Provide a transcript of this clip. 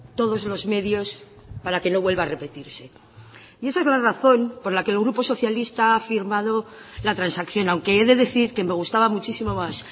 todos los medios para que no vuelva a repetirse y esa es la razón por la que el grupo socialista ha firmado la transacción aunque he de decir que me gustaba muchísimo más